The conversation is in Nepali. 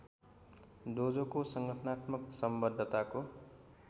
डोजोको संगठनात्मक संबद्धताको